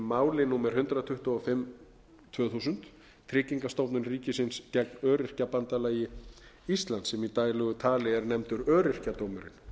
máli númer hundrað tuttugu og fimm tvö þúsund tryggingastofnun ríkisins gegn öryrkjabandalagi íslands sem í daglegu tali er nefnt öryrkjadómurinn